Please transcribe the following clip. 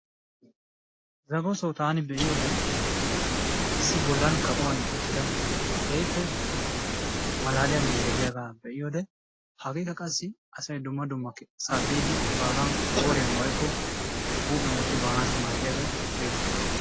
Zagosoo taani be'iyode issi bollan kaqquwani uttida keehippe malaaliya miishshay diyaagaa be'iyode hageekka qassi asay dumma dummasaa biidi baagaa qooriyan woykko huuphiyan wotti baanaassi maaddiyagee beettees.